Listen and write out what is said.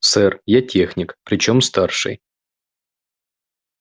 сэр я техник причём старший